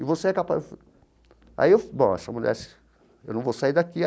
E você é capaz... Aí eu... Bom, essa mulher... Eu não vou sair daqui.